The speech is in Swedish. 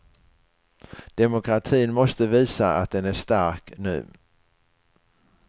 Demokratin måste visa att den är stark nu.